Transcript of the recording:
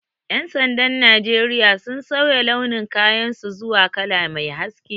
Ƴan sandan Najeriya sun sauya launin kayan su zuwa kala mai haske